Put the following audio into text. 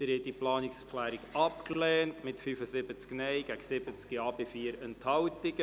Sie haben diese Planungserklärung abgelehnt mit 75 Nein- gegen 70 Ja-Stimmen bei 4 Enthaltungen.